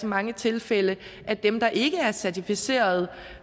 mange tilfælde er dem der ikke er certificerede